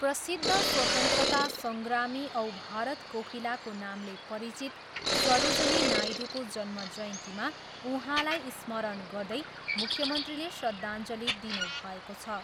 प्रसिद्ध स्वतन्त्रता सङ्ग्रामी औ भारत कोकिलाको नामले परिचित सरोजनी नायडूको जन्मजयन्तीमा उहाँलाई स्मरण गर्दै मुख्यमन्त्रीले श्रदाञ्जली दिनुभएको छ।